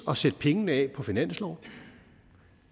at sætte pengene af på finansloven